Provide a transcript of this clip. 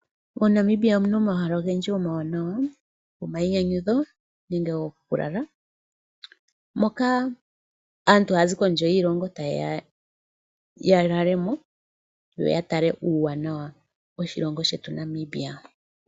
Mo Namibia omuna omahala ogendji omawanawa ,goma yi nyanyudho nenge goku lala moka aantu ha ya zi kondje yoshilongo tayeya yalalemo yoya tale uuwanawa woshilongo shetu Namibia.